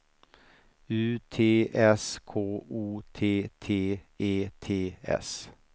U T S K O T T E T S